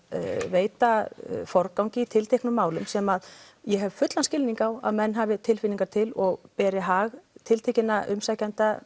veita forgangi tilteknum málum sem ég hef fullan skilning á að menn hafi tilfinningar til og beri hag tiltekinna umsækjenda